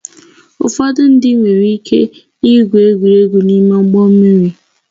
Ụfọdụ ndị nwere ike igwu egwuregwu n'ime ụgbọ mmiri